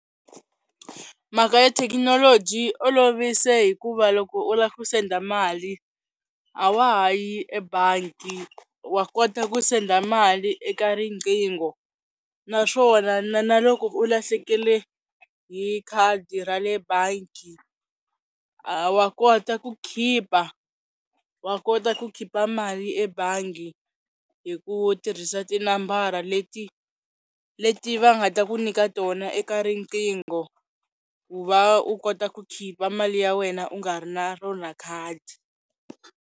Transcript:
Mhaka ya thekinoloji yi olovise hikuva loko u la ku send-a mali a wa ha yi ebangi wa kota ku send-a mali eka riqingho, naswona na loko u lahlekele hi khadi ra le bangi a wa kota ku khipa wa kota ku khipa mali ebangi hi ku tirhisa tinambara leti leti va nga ta ku nyika tona eka riqingho ku va u kota ku khipa mali ya wena u nga ri na rona khadi.